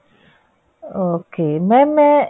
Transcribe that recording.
okay mam ਮੈਂ